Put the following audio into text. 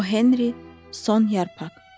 O Henri, son yarpaq.